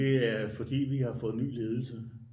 Det er fordi at vi har fået ny ledelse